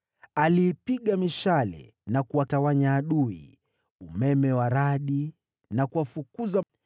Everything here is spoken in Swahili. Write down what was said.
Aliipiga mishale na kutawanya adui, umeme wa radi na kuwafukuza.